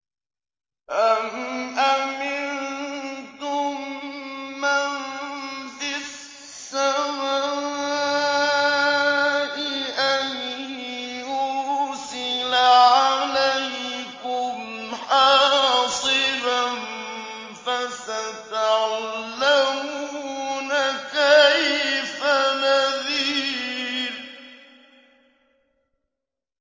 أَمْ أَمِنتُم مَّن فِي السَّمَاءِ أَن يُرْسِلَ عَلَيْكُمْ حَاصِبًا ۖ فَسَتَعْلَمُونَ كَيْفَ نَذِيرِ